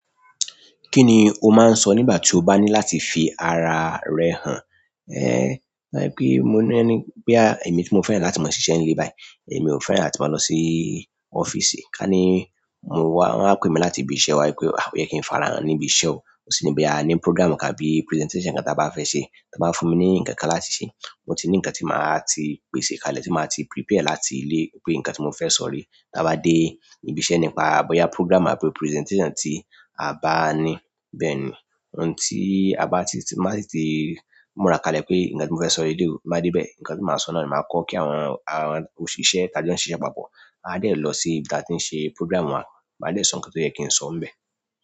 Kí ni o máa ń sọ nígbà tí o bá ní láti fi ara rẹ hàn? Ehn, bí i pé mo ní ẹni pé à, èmi tí mo fẹ́ràn láti máa ṣise nílé báyìí, èmi ò fẹ́ràn láti máa lọ sí ọ́fíìsì. Ka ní, mo wá, wọ́n á pè mi láti ibi iṣẹ́ wá pé, "O yẹ kí n farahan níbi iṣẹ́ o." O sì ní bí a ní program àti presentation nkán tí a bá fẹ́ ṣe, tí wọ́n bá fún mi ní ǹkan kan láti ṣe, mo ti ní ǹkan tí màá ti pèsè ká lè tí màá ti prepare láti ilé pé ǹkan tí mo fẹ́ sọ̀ re. Tí a bá dé ibi iṣẹ́ nípa bí ya program àti presentation tí a bá ní. Bẹ́ẹ̀ ni ohun tí a bá ti máa sì ti múra ká lè pé ǹkan tí mo fẹ́ sọ nílé mi bá dé bẹ́ẹ̀, ǹkan tí màá sọ náà ni màá kọ́ kí àwọn, àwọn òṣìṣẹ́, tàbí àwọn tí ń ṣe iṣẹ́ papọ̀. Maa de lo si ibi ti a ti n se program wa, maa de so nkan to yen ki n so níbẹ̀.